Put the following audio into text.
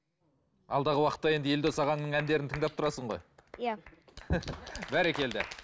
алдағы уақытта енді елдос ағаңның әндерін тыңдап тұрасың ғой иә бәрекелді